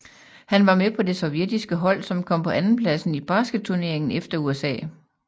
Han var med på det sovjetiske hold som kom på andenpladsen i basketturneringen efter USA